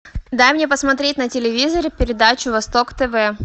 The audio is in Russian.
дай мне посмотреть на телевизоре передачу восток тв